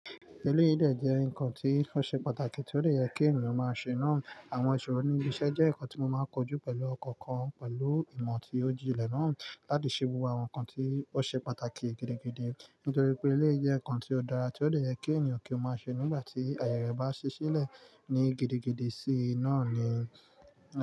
Ẹlẹyi de jẹ́ nǹkan tí ó ṣe pàtàkì tí ó lè yẹ kí ènìyàn máa ṣe náà. Àwọn ìṣòro níbi iṣẹ́ jẹ́ nǹkan tí mo máa ń kojú pẹ̀lú ọkàn kan pẹ̀lú ìmọ̀ tí ó jí ilẹ̀ náà láti ṣe wuwa àwọn nǹkan tí ó ṣe pàtàkì gidi didi nítorí pé ilé jẹ́ ǹkan tí ó dára tí ó lè yẹ kí ènìyàn kí ó máa ṣe nígbà tí àyè rẹ̀ bá ṣe sílẹ̀ ní gidigidi sí i náà ni.